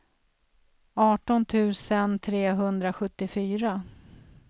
arton tusen trehundrasjuttiofyra